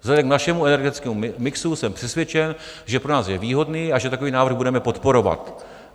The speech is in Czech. Vzhledem k našemu energetickému mixu jsem přesvědčený, že pro nás je výhodný a že takový návrh budeme podporovat.